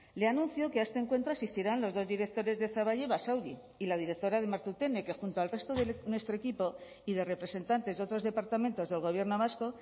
le anuncio que a este encuentro asistirán los dos directores de zaballa y basauri y la directora de martutene que junto al resto de nuestro equipo y de representantes de otros departamentos del gobierno vasco